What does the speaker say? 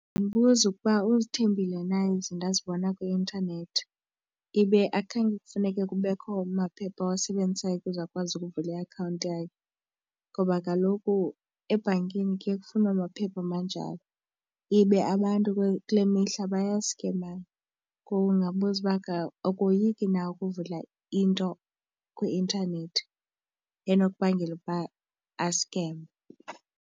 Ndingambuza ukuba uzithembile na ezi zinto azibona kwi intanethi ibe akhange kufuneke kubekho maphepha ewasebenzisayo ukuze akwazi ukuvula iakhawunti yakhe, ngoba kaloku ebhankini kuye kufunwe amaphepha amanjalo. Ibe abantu kule mihla bayaskemana. Ngoku ndingambuza uba akoyiki na ukuvula into kwi-intanethi enokubangela ukuba askemwe.